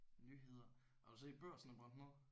Nyheder. Har du set Børsen er brændt ned?